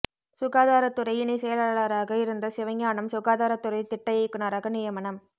சுகாதாரத்துறை இணை செயலாளராக இருந்த சிவஞானம் சுகாதாரத்துதுறை திட்ட இயக்குனராக நியமனம்